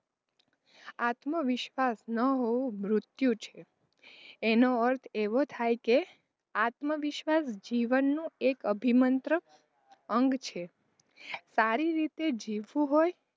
આત્મવિશ્વાસ ન હોવો મૃત્યું છે એનો અર્થ એવો થાય કે આત્મવિશ્વાસ જીવનનું એક અભિમંત્ર અંગ છે સારી રીતે જીવવું હોય,